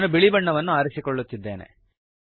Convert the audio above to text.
ನಾನು ಬಿಳಿ ಬಣ್ಣವನ್ನು ಆರಿಸಿಕೊಳ್ಳುತ್ತಿದ್ದೇನೆ